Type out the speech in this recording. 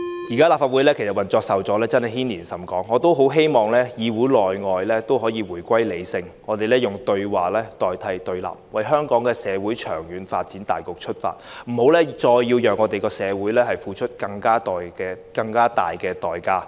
現時立法會的運作受阻，真的牽連甚廣，我希望議會內外均能夠回歸理性，以對話代替對立，從香港社會的長遠發展大局出發，不要再讓社會付出更大的代價。